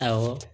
Awɔ